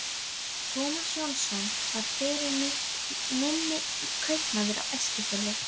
Tómas Jónsson var fyrir mitt minni kaupmaður á Eskifirði.